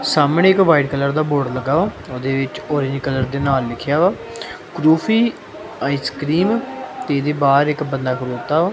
ਸਾਹਮਣੇ ਇੱਕ white colour ਦਾ ਬੋਰਡ ਲੱਗਾ ਵਾ ਉਹਦੇ ਵਿੱਚ ਉਹੀ ਕਲਰ ਦੇ ਨਾਲ ਲਿਖਿਆ ਵਾ ਰੂਫੀ ਆਈਸਕ੍ਰੀਮ ਇਹਦੇ ਬਾਹਰ ਇੱਕ ਬੰਦਾ ਖਲੋਤਾ ਵਾ।